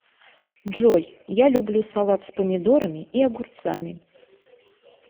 джой я люблю салат с помидорами и огурцами